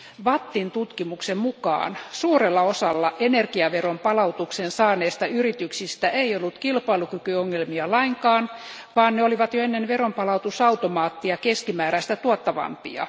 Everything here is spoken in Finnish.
VATTn tutkimuksen mukaan suurella osalla energiaveronpalautuksen saaneista yrityksistä ei ollut kilpailukykyongelmia lainkaan, vaan ne olivat jo ennen veronpalautusautomaattia keskimääräistä tuottavampia.